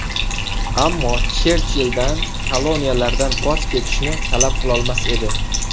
Ammo Cherchilldan koloniyalardan voz kechishni talab qilolmas edi.